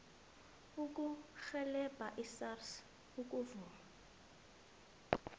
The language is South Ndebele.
ukurhelebha isars ukuvuma